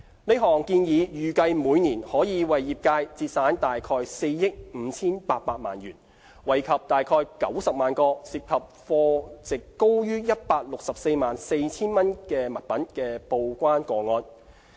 這項建議預計每年可為業界節省約4億 5,800 萬元，惠及約90萬個涉及貨值高於 1,644,000 元的物品的報關個案。